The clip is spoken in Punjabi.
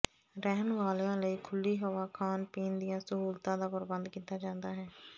ਰਹਿਣ ਵਾਲਿਆਂ ਲਈ ਖੁੱਲੀ ਹਵਾ ਖਾਣ ਪੀਣ ਦੀਆਂ ਸਹੂਲਤਾਂ ਦਾ ਪ੍ਰਬੰਧ ਕੀਤਾ ਜਾਂਦਾ ਹੈ